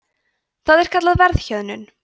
það er kallað verðhjöðnun